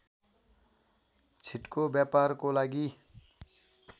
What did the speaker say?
छिटको व्यापारको लागि